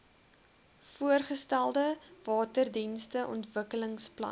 voorgestelde waterdienste ontwikkelingsplan